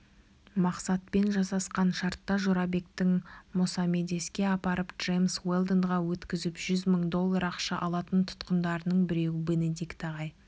мақсатпен жасасқан шартта жорабектің мосамедеске апарып джемс уэлдонға өткізіп жүз мың доллар ақша алатын тұтқындарының біреуі бенедикт ағай